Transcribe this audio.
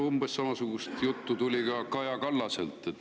Umbes samasugust juttu tuli ka Kaja Kallaselt.